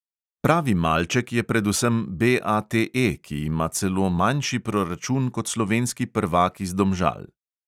Pravi malček je predvsem BATE, ki ima celo manjši proračun kot slovenski prvak iz domžal.